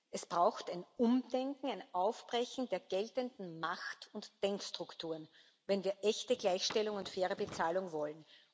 Es braucht ein Umdenken, ein Aufbrechen der geltenden Macht und Denkstrukturen, wenn wir echte Gleichstellung und faire Bezahlung wollen.